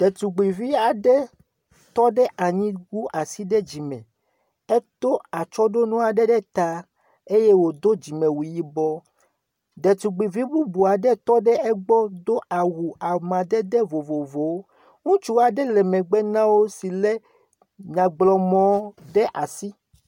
Detugbivi tɔ aɖe anyi wu asi ɖe dzime. Etɔ atsyɔ̃ɖonu aɖe ɖe ta eye wòdo dzimewu yibɔ. Detugbivi bubu aɖe tɔ ɖe egbɔ do awu amadede vovovowo ŋutsu aɖe le megbe na wo si lé nyagblɔmɔ ɖe asi.